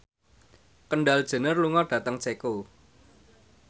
Kendall Jenner lunga dhateng Ceko